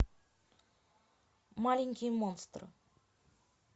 маленький монстр